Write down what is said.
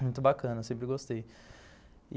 Muito bacana, sempre gostei.